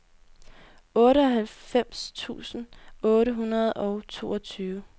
otteoghalvfems tusind otte hundrede og toogtyve